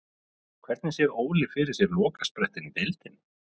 Hvernig sér Óli fyrir sér lokasprettinn í deildinni?